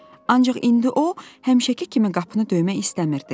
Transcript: Ancaq indi o həmişəki kimi qapını döymək istəmirdi.